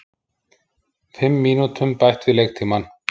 Fimm mínútum bætt við leiktímann